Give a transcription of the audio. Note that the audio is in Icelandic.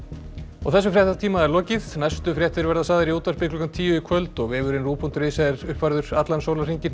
þessum fréttatíma er lokið næstu fréttir verða sagðar í útvarpi klukkan tíu í kvöld og vefurinn ruv punktur is er uppfærður allan sólarhringinn